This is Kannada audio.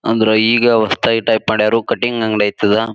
ಅಂದ್ರ ಈಗ ಹೊಸದಾಗ್ ಟೈಪ್ ಮಾಡ್ಯಾರೋ ಕಟಿಂಗ್ ಅಂಗಡಿ ಐಯ್ತ್ ಅದ.